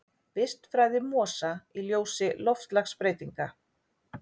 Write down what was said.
Vistfræði mosa í ljósi loftslagsbreytinga.